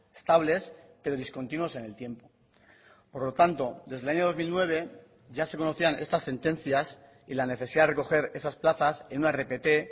estables pero discontinuos en el tiempo por lo tanto desde el año dos mil nueve ya se conocían estas sentencias y la necesidad de recoger esas plazas en una rpt